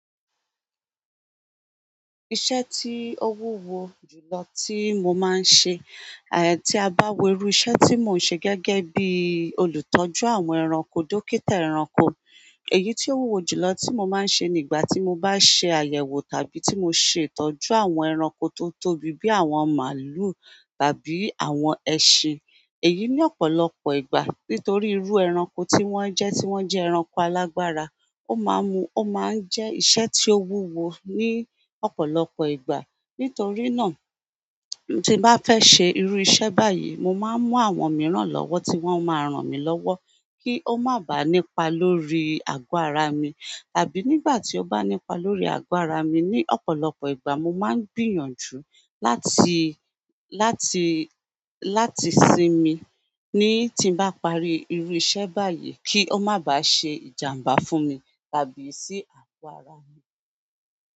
Iṣẹ́ tí ó wúwo jùlọ tí mo máa ń ṣe, tí a abáwo irú iṣẹ́ tí mò ń ṣe gẹ́gẹ́ bí olùtọ́jú àwọn ẹranko, dókítà ẹranko. Èyí tí ó wúwo jùlọ tí mo máa ń ṣe nígbà tí mo bá ṣe àyẹ̀wò tàbí tí mo ṣe ìtọ́jú àwọn ẹranko tó tóbi bí àwọn màlúù tàbí àwọn ẹṣin. Èyí ní ọ̀pọ̀lọpọ̀ ìgbà nítorí irú ẹranko tí wọ́n jẹ́ tí wọ́n jẹ́ ẹranko alágbára, ó máa ń mú ó máa ń jẹ́ iṣẹ́ tí ó wúwo ní ọ̀pọ̀lọpọ̀ ìgbà. Nítorí náà, tí m bá fẹ́ ṣe irú iṣẹ́ báyìí, mo máa ń mú àwọn mìíràn lọ́wọ́ tí wọ́n máa rán mi lọ́wọ́ kí ó má bàá nípa lórí agbára mi. Tàbí nígbà tí ó bá nípa lórí agbára mi ní ọ̀pọ̀lọpọ̀ ìgbà mo máa ń gbìyànjú láti, láti, láti sinmi ní tí m bá parí irú iṣẹ́ báyìí kí ó má bàá ṣe ìjàmbá fún mi tàbí sí àgọ́ ara mi.